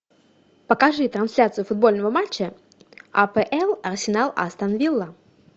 покажи трансляцию футбольного матча апл арсенал астон вилла